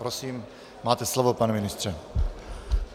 Prosím máte slovo, pane ministře.